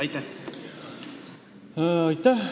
Aitäh!